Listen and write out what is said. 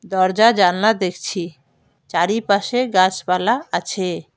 দরজা জানলা দেখছি চারিপাশে গাছপালা আছে।